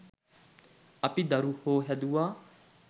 අපි දරුහො හැදුවා